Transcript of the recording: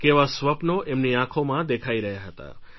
કેવા સ્વપ્નો એમની આંખોમાં દેખાઈ રહ્યા હતા